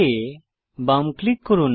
add এ বাম click করুন